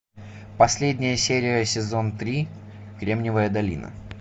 последняя серия сезон три кремниевая долина